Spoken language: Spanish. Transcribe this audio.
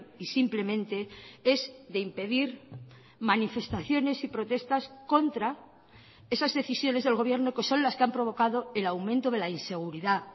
y simplemente es de impedir manifestaciones y protestas contra esas decisiones del gobierno que son las que han provocado el aumento de la inseguridad